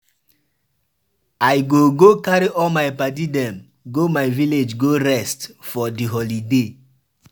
I go go carry all my paddy dem go my village go rest for di holiday.